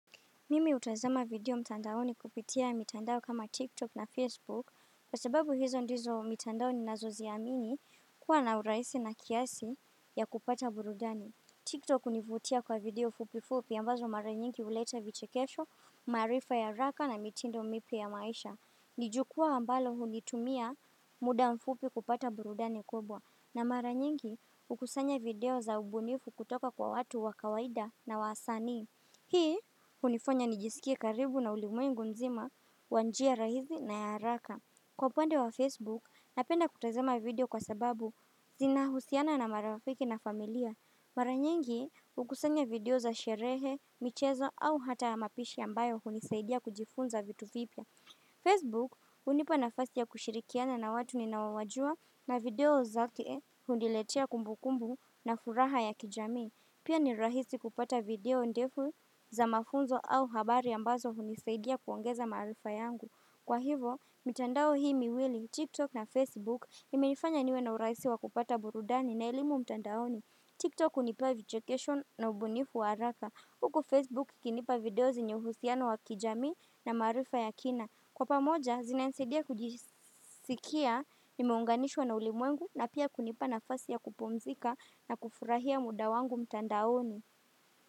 Mimi hutazama video mtandaoni kupitia mitandao kama TikTok na Facebook Kwa sababu hizo ndizo mitandao ninazo ziamini kuwa na uraisi na kiasi ya kupata burudani TikTok hunivutia kwa video fupi fupi ambazo mara nyingi huleta vichekesho maarifa ya haraka na mitindo mipya ya maisha Nijukua ambalo hulitumia muda mfupi kupata burudani kubwa na mara nyingi hukusanya video za ubunifu kutoka kwa watu wakawaida na wasanii Hii, hunifanya nijisikia karibu na ulimwengu mzima, kwa njia rahisi na ya haraka. Kwa upande wa Facebook, napenda kutazama video kwa sababu zinahusiana na marafiki na familia. Maranyingi, hukusanya video za sherehe, michezo au hata ya mapishi ambayo hunisaidia kujifunza vitu vipya. Facebook, hunipa nafasi ya kushirikiana na watu ninaowajua na video zake huniletea kumbu kumbu na furaha ya kijamii. Pia ni rahisi kupata video ndefu za mafunzo au habari ambazo hunisaidia kuongeza maarifa yangu. Kwa hivyo, mitandao hii miwili, TikTok na Facebook, imenifanya niwe na urahisi wa kupata burudani na elimu mtandaoni. TikTok hunipa vicheokesho na ubunifu wa haraka. Huku Facebook kinipa video zinye husiano wa kijamii na maarifa ya kina. Kwa pamoja, zinanisaidia kujisikia, nimeunganishwa na ulimwengu na pia kunipana nafasi ya kupumzika na kufurahia muda wangu mtandaoni.